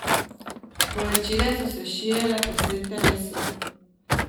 Bolečine so se širile po vsem telesu.